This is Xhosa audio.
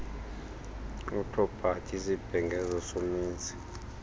wepropati isibhengezo somenzi